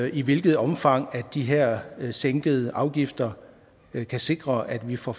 i hvilket omfang de her sænkede afgifter kan sikre at vi får